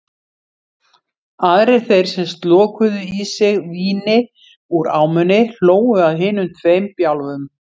Aðrir þeir sem slokuðu í sig víni úr ámunni hlógu að hinum tveim bjálfum.